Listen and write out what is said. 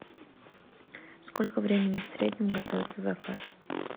сколько времени в среднем готовится заказ